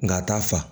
Nka a t'a fa